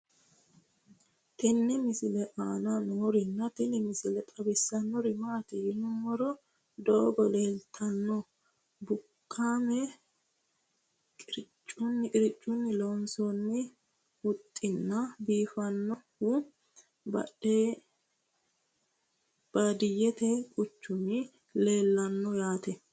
tenne misile aana noorina tini misile xawissannori maati yinummoro doogo leeltannoe bukaame qiriccunni lonsoonni huxxinna biifinsoonnihu baadiyete quchumi leellannoe yaate